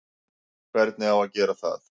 Hvernig á að gera það?